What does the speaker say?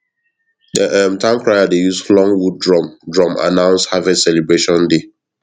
the um town crier dey use long wood drum drum announce harvest celebration day